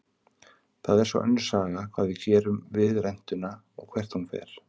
Það er svo önnur saga hvað við gerum við rentuna og hvert hún fer.